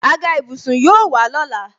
Àga ìbùsùn yóò wà lọ́la